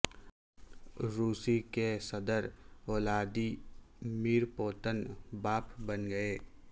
روس کے صدر ولادی میر پوتن باپ بن گئے